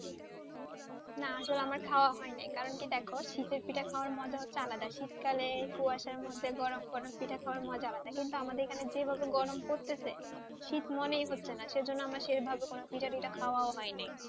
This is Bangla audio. না আসলে আমার খাওয়া হয়নি কারণ কি দেখো শীতের পিঠা খাওয়া মজা হচ্ছে আলাদা শীতকালে কুয়াশার মধ্যে গরম গরম পিঠে খাওয়ার মজাই আলাদা কিন্তু আমাদের এখানে যেভাবে গরম পড়তেছে শীত মনে হচ্ছে না সেজন্য আমার সেভাবে পিঠাটিঠা খাওয়া হয় নাই,